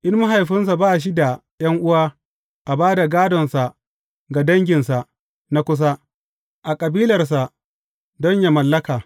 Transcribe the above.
In mahaifinsa ba shi da ’yan’uwa, a ba da gādonsa ga danginsa na kusa, a kabilarsa don yă mallaka.